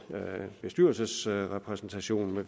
bestyrelsesrepræsentation